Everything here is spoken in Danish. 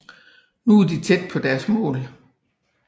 Nu er de tæt på deres mål